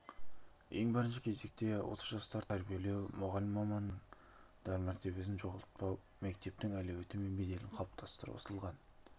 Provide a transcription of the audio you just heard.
ең бірінші кезекте осы жастарды тәрбиелеу мұғалім мамандығының мәртебесін жоғалтпау мектептің әлеуеті мен беделін қалыптастыру ысылған